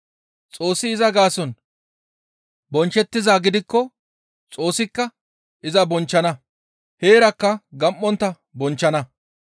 Xoossi iza gaason bonchchettizaa gidikko Xoossika iza bonchchana; heerakka gam7ontta bonchchana.